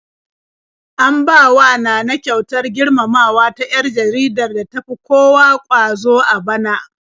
An bawa Nana kyautar girmamawa ta 'yar jaridar da tafi kowa ƙwazo a bana.